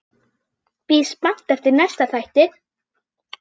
Bíð spennt eftir næsta þætti.